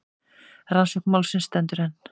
Rannsókn málsins stendur enn.